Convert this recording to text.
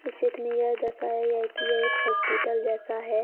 इस चित्र में यह दर्शाया गया है कि एक हॉस्पिटल जैसा है।